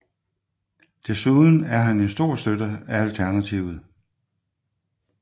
Desuden er han en stor støtte af Alternativet